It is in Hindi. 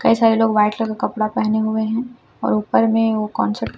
कई सारे लोग व्हाइट कलर का कपड़ा पहने हुए हैं और ऊपर में वो कंस--